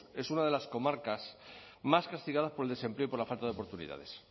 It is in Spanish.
es una de las comarcas más castigadas por el desempleo y por la falta de oportunidades